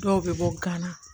Dɔw bɛ bɔ gana